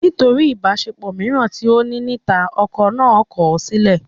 Nítorí ìbáṣepọ̀ mìíràn tí ó ní níta, ọkọ náà kọ̀ sílẹ̀